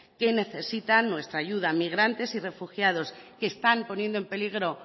que necesitan nuestra ayuda migrantes y refugiados que están poniendo en peligro